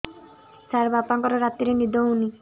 ସାର ବାପାଙ୍କର ରାତିରେ ନିଦ ହଉନି